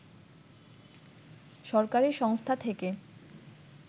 সরকারি সংস্থা থেকে